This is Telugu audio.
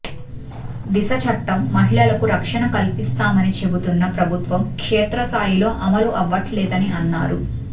దిశ చట్టం మహిళలకు రక్షణ కల్పిస్తామని చెబుతున్న ప్రభుత్వం క్షేత్రస్థాయిలో అమలు అవ్వట్లేదని అన్నారు